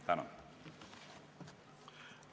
Tänan!